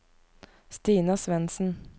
Stina Svensen